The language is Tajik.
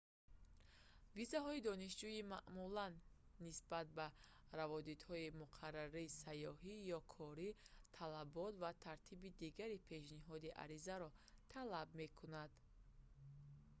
визаҳои донишҷӯӣ маъмулан нисбат ба раводидҳои муқаррарии сайёҳӣ ё корӣ талабот ва тартиби дигари пешниҳоди аризаро талаб мекунад